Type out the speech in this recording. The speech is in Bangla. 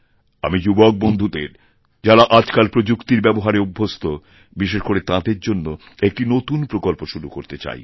আমি যুবক বন্ধুদের যাঁরা আজকালপ্রযুক্তির ব্যবহারে অভ্যস্ত বিশেষ করে তাঁদের জন্য একটি নতুন প্রকল্প শুরু করতেচাই